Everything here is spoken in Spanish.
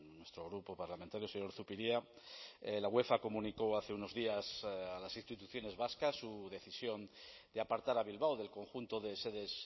nuestro grupo parlamentario señor zupiria la uefa comunicó hace unos días a las instituciones vascas su decisión de apartar a bilbao del conjunto de sedes